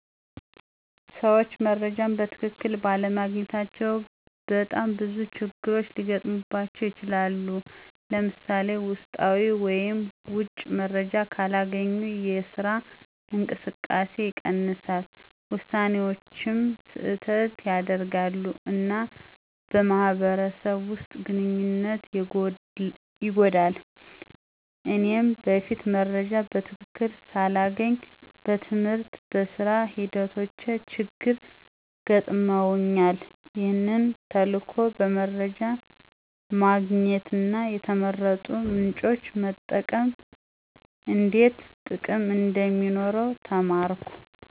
ሰዎች መረጃን በትክክል ባለማግኘታቸው በጣም ብዙ ችግሮች ሊገጥሙባቸው ይችላሉ። ለምሳሌ፣ ውስጣዊ ወይም ውጪ መረጃ ካላገኙ የስራ እንቅስቃሴ ይቀንሳል፣ ውሳኔዎችም ስህተት ያደርጋሉ፣ እና በማህበረሰብ ውስጥ ግንኙነት ይጎዳል። እኔም በፊት መረጃ በትክክል ሳላገኝ በትምህርትና በሥራ ሂደቶቼ ችግር ገጥመውኛል። ይህ ተልዕኮ በመረጃ ማግኘትና የተመረጡ ምንጮችን መጠቀም እንዴት ጥቅም እንደሚኖረው ተማርኩ።